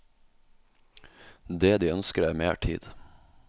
Det de ønsker er mer tid.